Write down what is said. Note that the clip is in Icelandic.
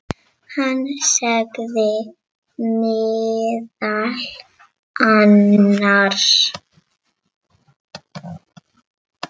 Hann sagði meðal annars